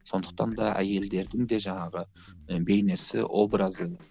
сондықтан да әйелдердің де жаңағы бейнесі образы